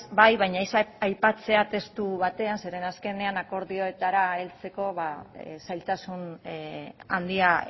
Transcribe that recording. bai baina ez aipatzea testu batean zeren askenean akordioetara heltzeko zailtasun handia